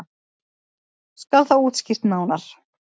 Skal það útskýrt nánar.